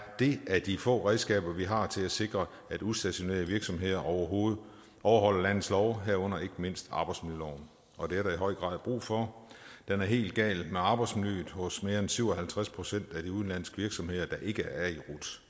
det af de få redskaber vi har til at sikre at udstationerede virksomheder overholder landets love herunder ikke mindst arbejdsmiljøloven og det er der i høj grad brug for det er helt galt med arbejdsmiljøet hos mere end syv og halvtreds procent af de udenlandske virksomheder der ikke er i